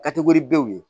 Kati ko ni denw ye